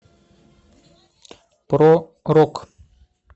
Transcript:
про рок